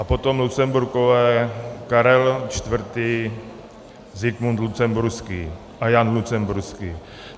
A potom Lucemburkové - Karel IV., Zikmund Lucemburský a Jan Lucemburský.